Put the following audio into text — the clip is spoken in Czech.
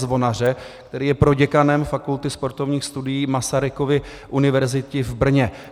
Zvonaře, který je proděkanem Fakulty sportovních studií Masarykovy univerzity v Brně.